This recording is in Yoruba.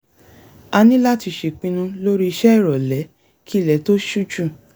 a ní láti ṣèpinu lórí ìṣe ìròlẹ́ kí ilẹ̀ tó ṣú jù